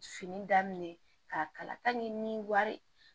Fini daminɛ k'a kalan ni wari